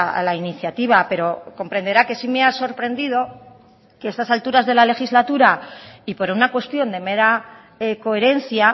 a la iniciativa pero comprenderá que sí me ha sorprendido que a estas alturas de la legislatura y por una cuestión de mera coherencia